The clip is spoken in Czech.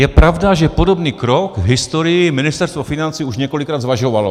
Je pravda, že podobný krok v historii Ministerstvo financí už několikrát zvažovalo.